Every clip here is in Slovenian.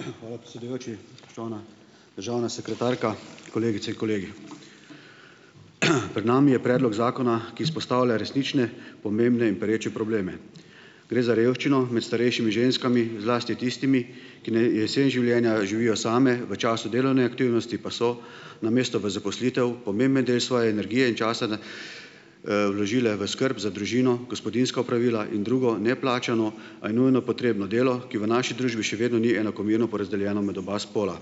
Hvala, predsedujoči. Spoštovana državna sekretarka, kolegice in kolegi. Pred nami je predlog zakona, ki izpostavlja resnične, pomembne in pereče probleme. Gre za revščino med starejšimi ženskami, zlasti tistimi, ki na jesen življenja živijo same, v času delovne aktivnosti pa so, namesto v zaposlitev, pomemben del svoje energije in časa n, vložile v skrb za družino, gospodinjska opravila in drugo, neplačano, a nujno potrebno delo, ki v naši družbi še vedno ni enakomerno porazdeljeno med oba spola.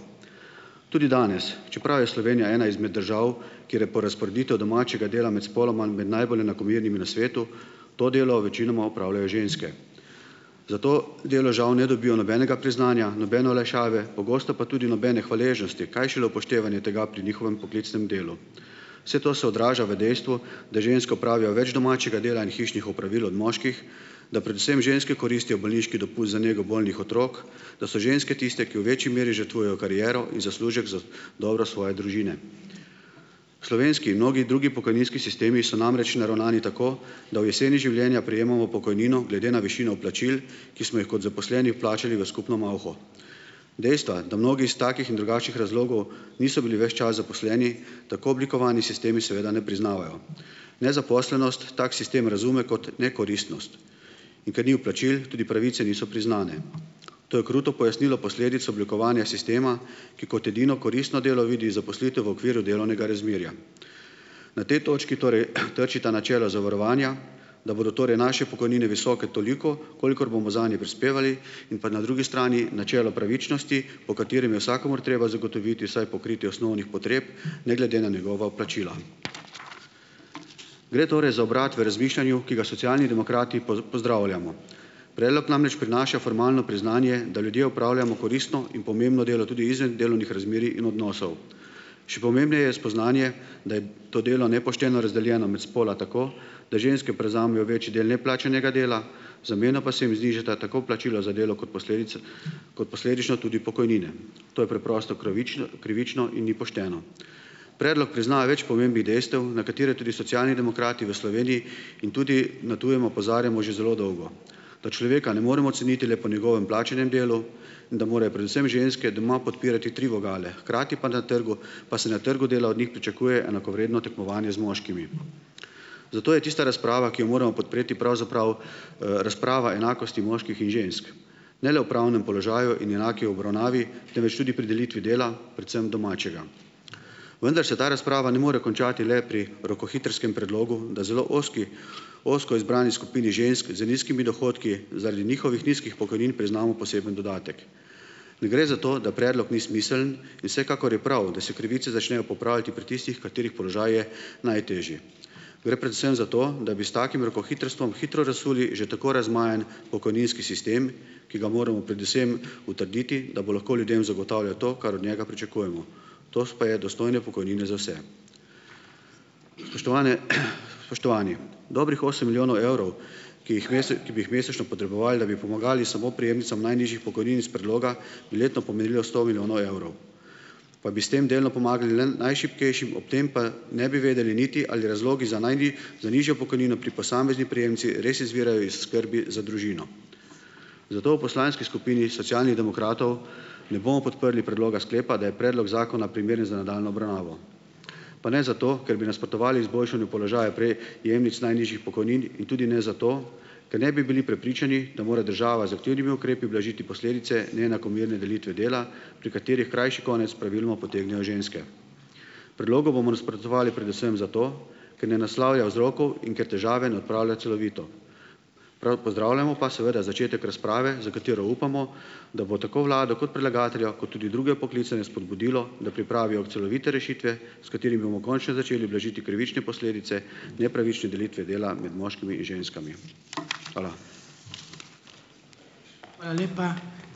Tudi danes, čeprav je Slovenija ena izmed držav, kjer je porazporeditev domačega dela med spoloma med najbolj enakomernimi na svetu, to delo večinoma opravljajo ženske. Za to delo žal ne dobijo nobenega priznanja, nobene olajšave, pogosto pa tudi nobene hvaležnosti, kaj šele upoštevanje tega pri njihovem poklicnem delu. Vse to se odraža v dejstvu, da ženske opravijo več domačega dela in hišnih opravil od moških, da predvsem ženske koristijo bolniški dopust za nego bolnih otrok, da so ženske tiste, ki v večji meri žrtvujejo kariero in zaslužek za dobro svoje družine. Slovenski in mnogi drugi pokojninski sistemi so namreč naravnani tako, da v jeseni življenja prejemamo pokojnino glede na višino plačil, ki smo jih kot zaposleni vplačali v skupno malho. Dejstva, da mnogi iz takih in drugačnih razlogov niso bili ves čas zaposleni, tako oblikovani sistemi seveda ne priznavajo. Nezaposlenost tak sistem razume kot nekoristnost, in ker ni vplačil, tudi pravice niso priznane. To je kruto pojasnilo posledic oblikovanja sistema, ki kot edino koristno delo vidi zaposlitev v okviru delovnega razmerja. Na tej točki torej, trčita načelo zavarovanja, da bodo torej naše pokojnine visoke toliko, kolikor bomo zanje prispevali, in pa na drugi strani načelo pravičnosti, po katerem je vsakomur treba zagotoviti vsaj pokritje osnovnih potreb, ne glede na njegova vplačila. Gre torej za obrat v razmišljanju, ki ga Socialni demokrati pozdravljamo. Predlog namreč prinaša formalno priznanje, da ljudje opravljamo koristno in pomembno delo, tudi izven delovnih razmerij in odnosov. Še pomembneje je spoznanje, da je to delo nepošteno razdeljeno med spola tako, da ženske prevzamejo večji del neplačanega dela, v zameno pa se jim znižata tako plačilo za delo kot posledica, kot posledično tudi pokojnine. To je preprosto kravično, krivično in ni pošteno. Predlog priznava več pomembnih dejstev, na katera tudi Socialni demokrati v Sloveniji in tudi na tujem opozarjamo že zelo dolgo, da človeka ne moremo ceniti le po njegovem plačanem delu in da morajo predvsem ženske doma podpirati tri vogale, hkrati pa na trgu pa se na trgu dela od njih pričakuje enakovredno tekmovanje z moškimi. Zato je tista razprava, ki jo moramo podpreti, pravzaprav, razprava enakosti moških in žensk. Ne le v pravnem položaju in enaki obravnavi, temveč tudi pri delitvi dela, predvsem domačega. Vendar se ta razprava ne more končati le pri rokohitrskem predlogu, da zelo ozki ozko izbrani skupini žensk z nizkimi dohodki zaradi njihovih nizkih pokojnin priznamo poseben dodatek. Ne gre za to, da predlog ni smiseln, in vsekakor je prav, da se krivice začnejo popravljati pri tistih, katerih položaj je najtežji. Gre predvsem za to, da bi s takim rokohitrstvom hitro razsuli že tako razmajan pokojninski sistem, ki ga moramo predvsem utrditi, da bo lahko ljudem zagotavljal to, kar od njega pričakujemo. To pa je dostojne pokojnine za vse. Spoštovane, spoštovani! Dobrih osem milijonov evrov, ki jih ki bi jih mesečno potrebovali, da bi pomagali samo prejemnicam najnižjih pokojnin iz predloga, bi letno pomenilo sto milijonov evrov, pa bi s tem delno pomagali le najšibkejšim, ob tem pa ne bi vedeli niti, ali razlogi za za nižjo pokojnino pri posamezni prejemnici res izvirajo iz skrbi za družino. Zato v poslanski skupini Socialnih demokratov ne bomo podprli predloga sklepa, da je predlog zakona primeren za nadaljnjo obravnavo, pa ne zato, ker bi nasprotovali izboljšanju položaja prejemnic najnižjih pokojnin in tudi ne zato, ker ne bi bili prepričani, da mora država z aktivnimi ukrepi ublažiti posledice neenakomerne delitve dela, pri katerih krajši konec praviloma potegnejo ženske. Predlogu bomo nasprotovali predvsem zato, ker ne naslavlja vzrokov in ker težave ne odpravlja celovito. Prav pozdravljamo pa seveda začetek razprave, za katero upamo, da bo tako vlado kot predlagatelja kot tudi druge poklicane spodbudilo, da pripravijo celovite rešitve, s katerimi bomo končno začeli blažiti krivične posledice nepravične delitve dela med moškimi in ženskami. Hvala.